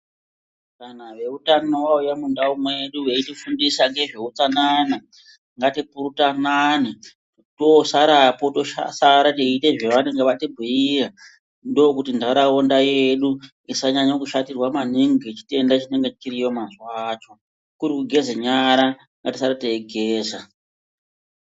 Kana veutano vauya mundau medu veifundiswa ngezveutsanana ngatipurutanane tosarapo tosara teiite zvanenge vatibhiira ndokuti ndaraunda yedu isanyanya kushatirwa maningi ngechitenda chinenge chiriyo mazuwacho kuri kugeza nyara ngatisare teigeza.